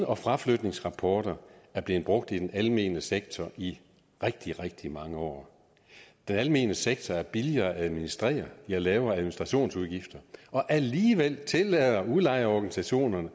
og fraflytningsrapporter er blevet brugt i den almene sektor i rigtig rigtig mange år den almene sektor er billigere at administrere de har lavere administrationsudgifter og alligevel tillader udlejerorganisationerne